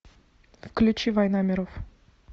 включи война миров